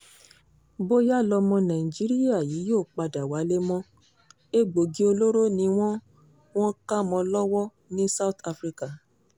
bóyá lọmọ nàìjíríà yìí yóò padà wálé mọ́ egbòogi olóró ni wọ́n wọ́n kà mọ́ ọn lọ́wọ́ ní south africa